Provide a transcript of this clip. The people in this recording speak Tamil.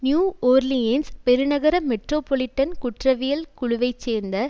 நியூ ஓர்லியேன்ஸ் பெருநகர மெட்ரோ பாலிட்டன் குற்றவியல் குழுவை சேர்ந்த